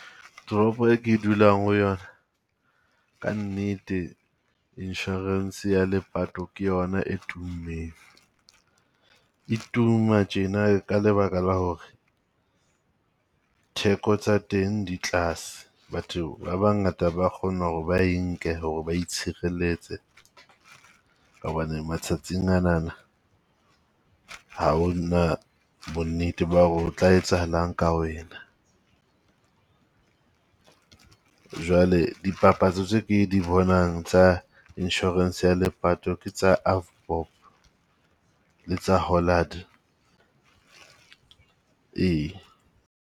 Toropo e ke dulang ho yona, kannete Insurance ya lepato ke yona e tummeng. E tuma tjena ka lebaka la hore theko tsa teng di tlase, batho ba bangata ba kgona ho re ba e nke ho re ba itshirelletse ka hobane matsatsing a nana ha ona bonnete ba hore ho tla etsahalang ka wena. Jwale dipapatso tse ke di bonang tsa insurance ya lepato ke tsa Avbob le tsa Hollard, ee.